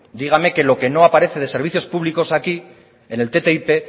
dígame que lo que no aparece de servicios públicos aquí en el ttip